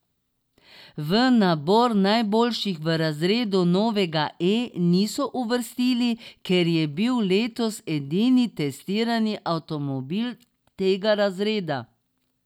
V nabor najboljših v razredu novega E niso uvrstili, ker je bil letos edini testirani avtomobil tega razreda.